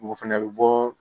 O fɛnɛ bɛ bɔ